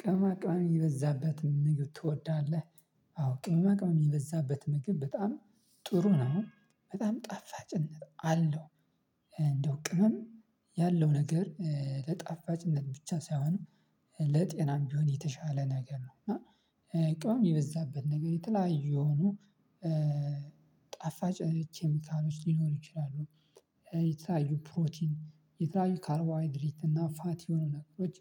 ቅመማቅመን የበዛበትን ምግብ ትወዳለህ? አዎ ቅመማቅመን የበዛበት ምግብ በጣም ጥሩ ነው። በጣም ጣፋጭነት አለው። እንደው ቅመም ያለው ነገር ለጣፋጭነት ብቻ ሳይሆን ለጤናም ቢሆን የተሻለ ነገር ነው እና ቅመም የበዛበት ነገር የተላየ የሆኑ ጣፋጭ ኬሚካሎች ሊኖሩ ይችላሉ የተለያዩ ፕሮቲን የተለያዩ ካርቦ ሃይድሪት እና ፋት የሆኑ ነገሮች